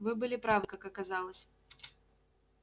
вы были правы как оказалось